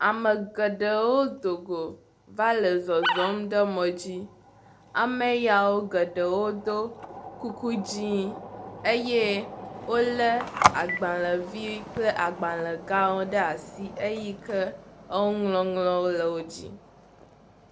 Ame geɖewo do go va le zɔzɔm ɖe mɔ dzi. Ame yeawo geɖe wodo kuku dzĩ eye wolé agbalẽ vi kple agbalẽ gawo ɖe asi eyi ke enuŋɔŋlɔwo le wo dzi.